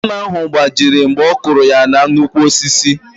Hama ahụ gbajiri mgbe ọkụrụ ya na nnukwu osisi ahụ